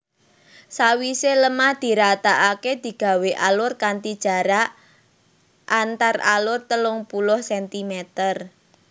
Sawise lemah diratakake digawé alur kanthi jarak antaralur telung puluh centimeter